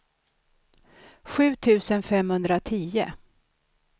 sju tusen femhundratio